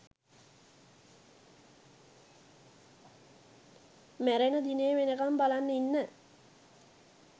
මැරෙන දිනේ වෙනකම් බලන් ඉන්න